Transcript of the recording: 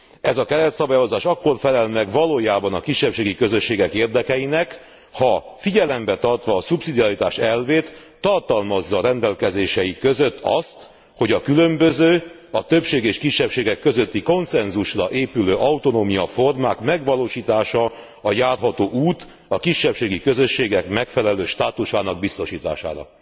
Ez a keretszabályozás akkor felel meg valójában a kisebbségi közösségek érdekeinek, ha figyelemben tartva a szubszidiaritás elvét tartalmazza rendelkezései között azt, hogy a különböző, a többség és kisebbségek közötti konszenzusra épülő autonómiaformák megvalósítása a járható út a kisebbségi közösségek megfelelő státusának biztosítására.